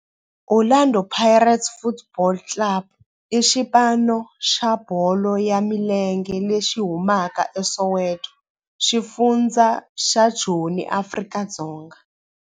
Orlando Pirates Football Club i xipano xa bolo ya milenge lexi humaka eSoweto, xifundzha xa Joni, Afrika-Dzonga.